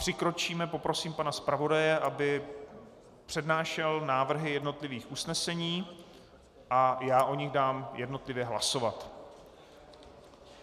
Přikročíme - poprosím pana zpravodaje, aby přednášel návrhy jednotlivých usnesení, a já o nich dám jednotlivě hlasovat.